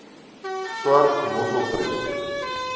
swart mossel projek